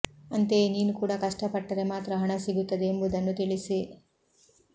ಅಂತೆಯೇ ನೀನು ಕೂಡಾ ಕಷ್ಟ ಪಟ್ಟರೆ ಮಾತ್ರ ಹಣ ಸಿಗುತ್ತದೆ ಎಂಬುದನ್ನು ತಿಳಿಸಿ